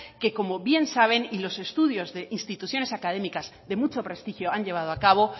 que como bien saben y los estudios de instituciones académicas de mucho prestigio han llevado a cabo